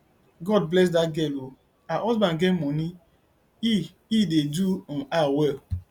god bless dat girl oo her husband get money he he dey do um her well